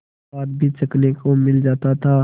स्वाद भी चखने को मिल जाता था